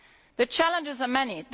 The challenges are many